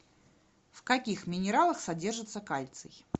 в каких минералах содержится кальций